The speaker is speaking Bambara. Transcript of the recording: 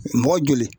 Mɔgɔ joli